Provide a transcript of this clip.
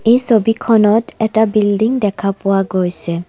এই ছবিখনত এটা বিল্ডিং দেখা পোৱা গৈছে।